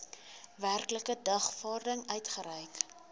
werklike dagvaarding uitgereik